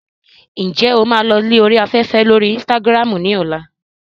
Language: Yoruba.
Ǹjẹ́ o máa lọ lórí afẹ́fẹ́ lórí Instagram ní ọ̀la?